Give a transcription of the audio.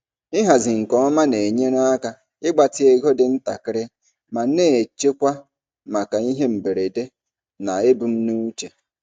Ịhazi nke ọma na-enyere aka ịgbatị ego dị ntakịrị ma na-echekwa maka ihe mberede na ebumnuche.